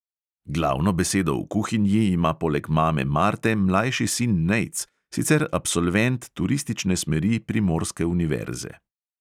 Glavno besedo v kuhinji ima poleg mame marte mlajši sin nejc, sicer absolvent turistične smeri primorske univerze.